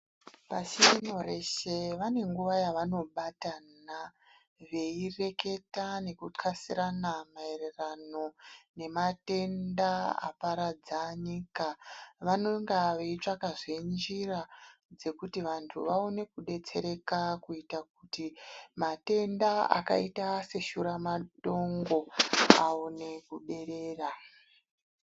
Pashi rino reshe vane nguwa yevanobatana veireketa neki xasirana mayererano nematenda aparadza nyika. Vanenge veitsvakazve njira dzekuti vantu vaone kudetsereka kuita kuti matenda akaita seshuramatongo aone kuderera.